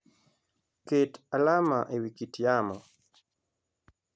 Ket alama e wi kit yamo.